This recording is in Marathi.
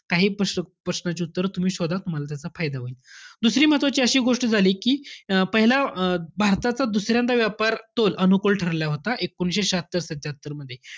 काही प्रश्न~ प्रश्नांची उत्तरं तुम्ही शोधा, तुम्हाला त्याचा फायदा होईल. दुसरी महत्वाची अशी एक गोष्ट झाली कि अं पहिल्या अं भारताचा दुसऱ्यांदा व्यापार तोल अनुकूल ठरला होता एकोणीसशे श्याहत्तर-सत्त्यात्तरमध्ये,